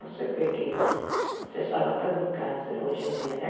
Você vê que se salva até de um câncer hoje em dia né.